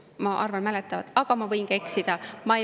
Ma nii justkui mäletan, aga ma võin ka eksida.